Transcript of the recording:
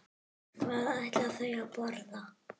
Hvað ætla þau að borða?